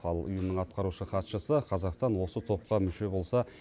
ал ұйымның атқарушы хатшысы қазақстан осы топқа мүше болса